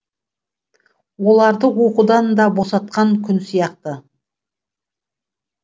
оларды оқудан да босатқан күн сияқты